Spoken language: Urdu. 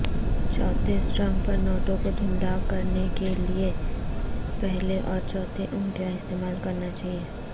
چوتھے سٹرنگ پر نوٹوں کو دھندلا کرنے کیلئے پہلے اور چوتھے انگلیاں استعمال کرنا چاہئے